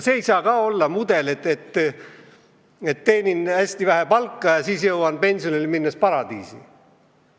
See ei saa olla mudel, et teenin hästi vähe palka ja siis jõuan pensionile minnes paradiisi.